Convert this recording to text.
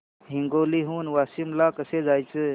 हिंगोली हून वाशीम ला कसे जायचे